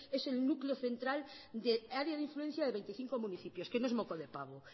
es el núcleo central de área de influencia de veinticinco municipios que no es moco de pavo